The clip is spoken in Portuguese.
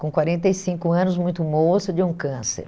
com quarenta e cinco anos, muito moça, de um câncer.